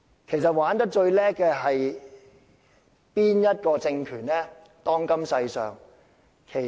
其實，當今世上哪個政權最懂得玩弄民粹？